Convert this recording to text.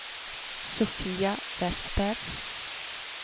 Sofia Westberg